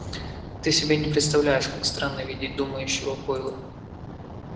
ты себе не представляешь как странно видеть думающего гойла